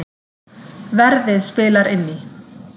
Verðið spilar inn í